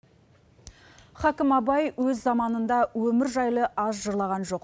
хәкім абай өз заманында өмір жайлы аз жырлаған жоқ